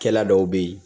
Kɛla dɔw bɛ ye